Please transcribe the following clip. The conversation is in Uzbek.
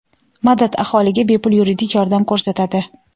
"Madad" aholiga bepul yuridik yordam ko‘rsatadi.